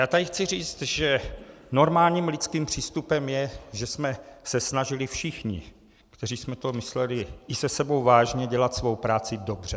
Já tady chci říct, že normálním lidským přístupem je, že jsme se snažili všichni, kteří jsme to mysleli i se sebou vážně, dělat svou práci dobře.